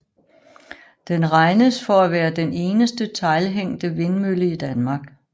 Den regnes for at være den eneste teglhængte vindmølle i Danmark